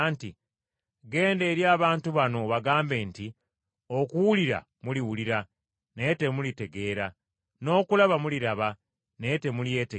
“ ‘Genda eri abantu bano obagambe nti, Okuwulira muliwulira, naye temulitegeera n’okulaba muliraba naye temulyetegereza.